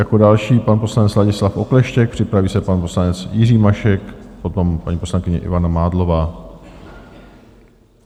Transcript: Jako další pan poslanec Ladislav Okleštěk, připraví se pan poslanec Jiří Mašek, potom paní poslankyně Ivana Mádlová.